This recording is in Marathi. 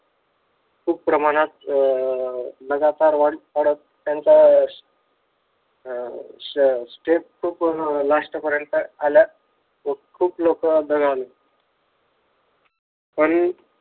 खूप प्रमाणात अं त्याचे लगातार वाढत. त्यांचा step खूप last पर्यंत आल्यात खूप लोक दगावलेत. पण